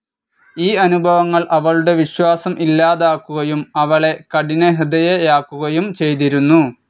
ഈ അനുഭവങ്ങൾ അവളുടെ വിശ്വാസം ഇല്ലാതാക്കുകയും അവളെ കഠിനഹൃദയയാക്കുകയും ചെയ്തിരുന്നു.